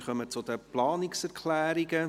Wir kommen zu den Planungserklärungen.